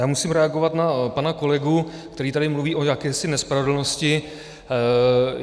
Já musím reagovat na pana kolegu, který tady mluví o jakési nespravedlnosti.